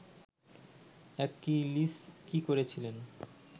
Achilles কী করেছিলেন